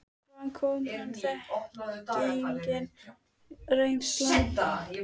Hvaðan kom honum þekkingin og reynslan?